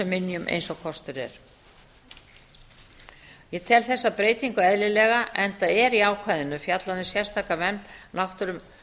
minjum eins og kostur er ég tel þessa breytingu eðlilega enda er í ákvæðinu fjallað um sérstaka vernd náttúrufyrirbæra